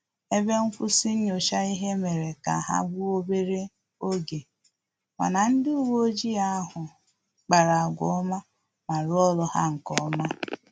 Ebe nkwụsị nyocha ihe mere ka ha gbuo obere oge, mana ndị uwe ojii ahụ kpara agwa ọma ma rụọ ọrụ ha nkeọma